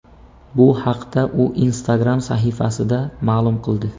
Bu haqda u Instagram sahifasida ma’lum qildi.